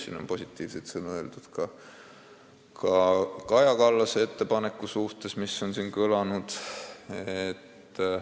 Siin on heakskiitvaid sõnu öeldud ka Kaja Kallase ettepaneku kohta.